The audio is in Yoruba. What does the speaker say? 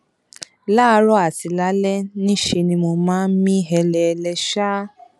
láàárọ àti lálẹ ní í ṣe ni mo máa ń mí hẹlẹhẹlẹ ṣáá